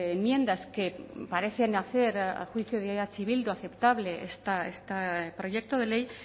enmiendas que parecen hacer a juicio de eh bildu aceptable este proyecto de ley